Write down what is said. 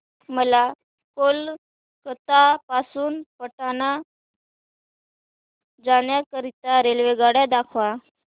मला कोलकता पासून पटणा जाण्या करीता रेल्वेगाड्या दाखवा